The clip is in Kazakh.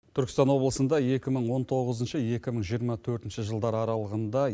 түркістан облысында екі мың он тоғызыншы екі мың жиырма төртінші жылдар аралығында